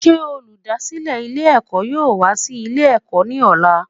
Sé olùdásílè Ilé èkó yóò wá sí Ilé èkó ní òla